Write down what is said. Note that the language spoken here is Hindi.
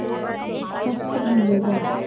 शस्त्र मिलेगा